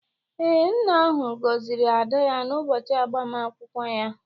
ee, nna ahụ gọziri ada ya n’ụbọchị agbamakwụkwọ ya